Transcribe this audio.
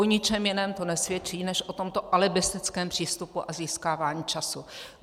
O ničem jiném to nesvědčí než o tomto alibistickém přístupu a získávání času.